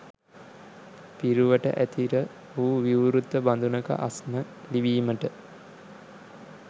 පිරුවට ඇතිර වූ විවෘත බඳුනක අස්න ලිවීමට